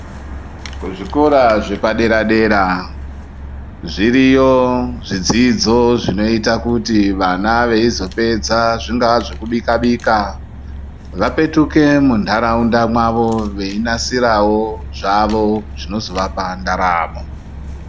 Kuzvikora zvepadera dera zviriyo zvidzidzo zvinoita kuti vana veizopedza zvingava zvekubika bika vapetuke munharaunda mwavo veinasirawo zvavo zvinozovapa ndaramo .